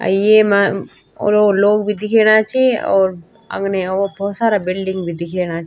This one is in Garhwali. अ येमा और लोग भी दिखणा छि और अगने ओ भोत सारा बिल्डिंग भी दिखेणा छी।